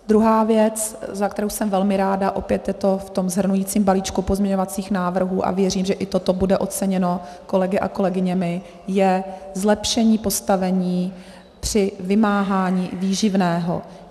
Druhá věc, za kterou jsem velmi ráda, opět je to v tom shrnujícím balíčku pozměňovacích návrhů a věřím, že i toto bude oceněno kolegy a kolegyněmi, je zlepšení postavení při vymáhání výživného.